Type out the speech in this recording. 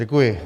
Děkuji.